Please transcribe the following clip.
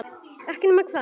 Ekki nema hvað?